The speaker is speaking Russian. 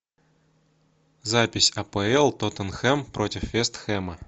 запись апл тоттенхэм против вест хэма